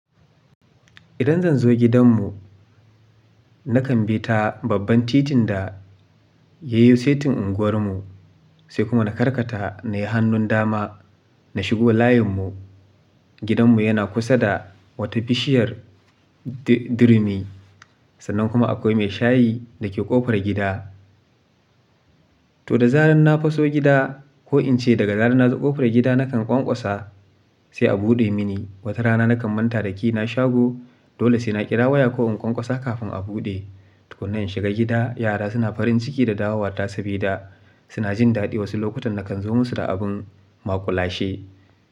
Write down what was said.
Idan zan zo gidanmu, na kan bi ta babban titin da ya yi saitin unguwarmu, sai kuma na karkata na yi hannun dama na shigo layinmu. Gidanmu yana kusa da wata bishiyar di-dirumi, sannan kuma akwai mai shayi da ke ƙofar gida. To da zarar na faso gida ko in ce daga zarar na zo ƙofar gida nakan ƙwanƙwasa, sai a buɗe mini. Wata rana na kan manta da key na shago. Dole sai na ƙira waya ko in ƙwanƙwasa kafin a buɗe. Tukunna in shiga gida, yara suna farin ciki da dawowata sabida suna jin daɗi wasu lokutan na kan zo musu da abin maƙulashe.